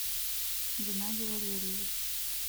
геннадий валерьевич